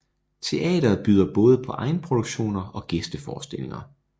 Teatret byder både på egenproduktioner og gæsteforestillinger